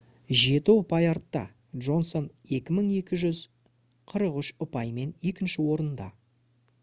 жеті ұпай артта джонсон 2243 ұпаймен екінші орында